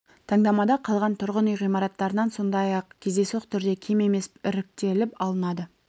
таңдамада қалған тұрғын үй ғимараттарынан сондай-ақ кездейсоқ түрде кем емес іріктеліп алынады